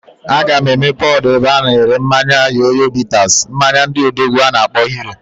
A ga m emepe odo ebe a na ere mmanya Yoyo bitters, mmanya ndị odogwu a na akpo Hero.